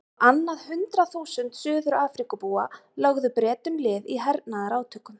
Á annað hundrað þúsund Suður-Afríkubúar lögðu Bretum lið í hernaðarátökum.